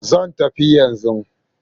Zan tafi yanzu.